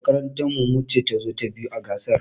Makarantar mu ce tazo ta biyu a gasar.